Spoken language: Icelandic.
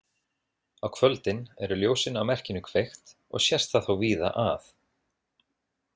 Á kvöldin eru ljósin á merkinu kveikt og sést það þá víða að.